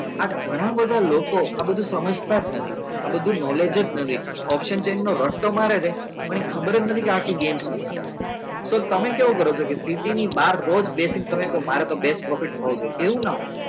આ ઘણા બધા આ લોકો સમજતા નથી આ બધું knowledge નથી option change નો રટતો મારે છે પણ એ ખબર જ નથી કે આખી game શું કાલે છે સો તમે સુ કરો છો કે city ની બાર રોજ બેસી ને તમે એવું કો છો કે મારે તો best profit એવું નાં હોય